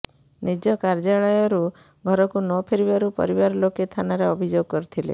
ନିଜ କାର୍ଯ୍ୟାଳୟରୁ ଘରକୁ ନ ଫେରିବାରୁ ପରିବାର ଲୋକେ ଥାନାରେ ଅଭିଯୋଗ କରିଥିଲେ